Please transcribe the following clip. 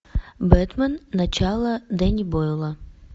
бэтмен начало дэнни бойла